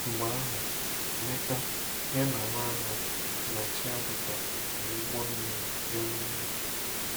Mgbe ahụ, Emeka, ya na Nwagu, na Chiadika, ji ụgbọ mmiri gawa Enugu.